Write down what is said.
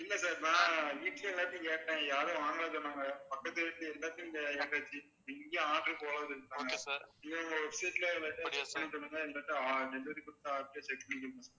இல்லை sir நான் வீட்டுலையும் எல்லாத்தையும் கேட்டேன் யாரும் வாங்கலைன்னு சொன்னாங்க பக்கத்து வீட்டுல எல்லாத்தையும் கே~ கேட்டாச்சு எங்கையும் order போகாதுன்னுட்டாங்க உங்க website ல ஒரு delivery குடுத்த ஆள்கிட்ட check பண்ணிக்குங்க